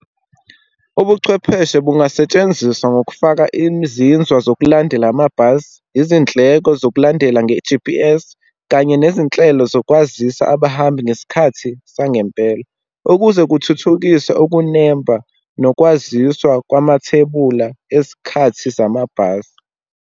Ubuchwepheshe bungasetshenziswa ngokufaka izinzwa zokulandela amabhasi, izindleko zokulandela nge-G_P_S, kanye nezinhlelo zokwazisa abahambi ngesikhathi sangempela, ukuze kuthuthukiswe ukunemba nokwaziswa kwamathebula esikhathi zamabhasi.